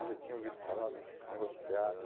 Eu já tinha ouvido falar nesse desse negócio de teatro.